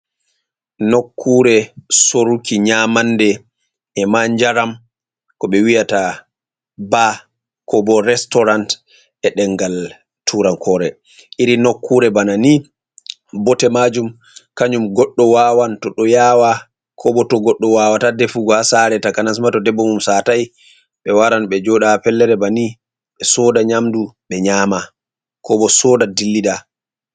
Nokkuure soruki nyamannde e man njaram, ko ɓe wiyata baa koo bo restoran e ɗemngal turankoore. Iri nokkuure bana ni, bote maajum kanjum goɗɗo wawan to ɗo yaawa, ko bo to goɗɗo wawata defugo haa saare, takanas ma to debbo mum satay. Ɓe waran ɓe jooɗa haa pellere banni, ɓe sooda nyamdu, ɓe nyaama, ko bo sooda dillida